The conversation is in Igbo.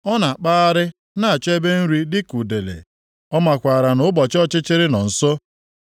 Ọ na-akpagharị na-achọ ebe nri dịka udele; ọ makwara na ụbọchị ọchịchịrị nọ nso.